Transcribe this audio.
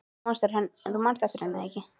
Þú manst eftir henni, er það ekki?